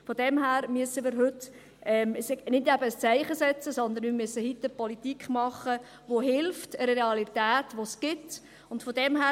Von daher müssen wir heute eben nicht ein Zeichen setzen, sondern wir müssen heute Politik machen, die einer Realität hilft, die es gibt.